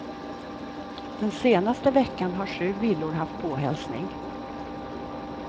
Den senaste veckan har sju villor haft påhälsning.